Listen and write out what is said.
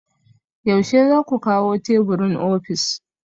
Yaushe za ku kawo teburin ofis?